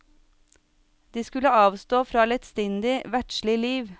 De skulle avstå fra lettsindig, verdslig liv.